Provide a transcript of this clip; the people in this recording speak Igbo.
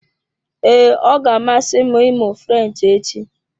Ee, ọ ga-amasị m ịmụ French echi.